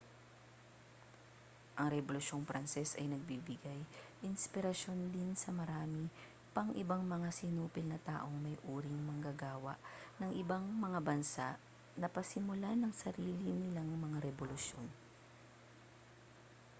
ang rebolusyong pranses ay nagbigay-inspirasyon din sa marami pang ibang mga sinupil na taong may uring manggagawa ng ibang mga bansa na pasimulan ang sarili nilang mga rebolusyon